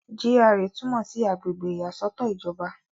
GRA túmọ̀ sí àgbègbè ìyàsọ́tọ̀ ìjọba.